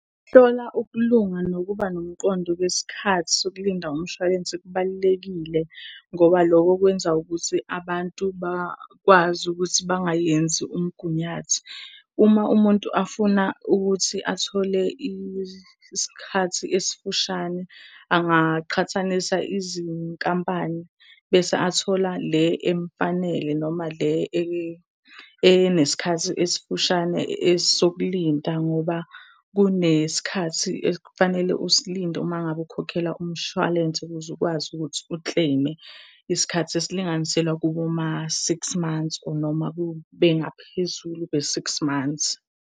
Ukuhlola ukulunga nokuba nomqondo kwesikhathi sokulinda umshwalense kubalulekile ngoba loko kwenza ukuthi abantu bakwazi ukuthi bangayenzi umgunyathi. Uma umuntu afuna ukuthi athole isikhathi esifushane, angaqhathanisa izinkampani bese athola le emfanele, noma le enesikhathi esifushane esokulinda ngoba kunesikhathi ekufanele usilinde uma ngabe ukhokhela umshwalense ukuze ukwazi ukuthi ukleyime. Isikhathi esilinganiselwe kuboma-six months, or, noma kube ngaphezulu kwe-six months.